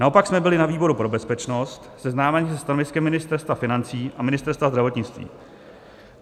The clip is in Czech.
Naopak jsme byli na výboru pro bezpečnost seznámeni se stanoviskem Ministerstva financí a Ministerstva zdravotnictví.